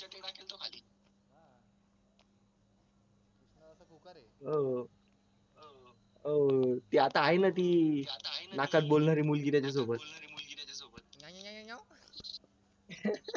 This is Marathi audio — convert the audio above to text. अं त्यात आहे ना ती नाकात बोलणारी मुलगी त्याच्यासोबत